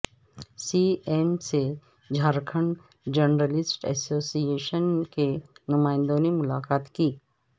سی M سے Jharkhand journalist association کے نمائندوں نے ملاقات کی